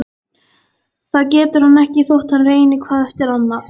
Það getur hann ekki þótt hann reyni hvað eftir annað.